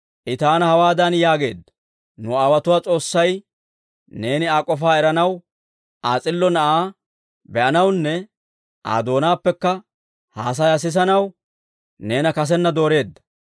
«I taana hawaadan yaageedda; ‹Nu aawotuwaa S'oossay neeni Aa k'ofaa eranaw, Aa s'illo Na'aa be'anawunne Aa doonaappekka haasayaa sisanaw neena kasenna dooreedda.